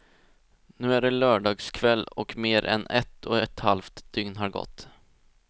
Nu är det lördagskväll och mer än ett och ett halvt dygn har gått.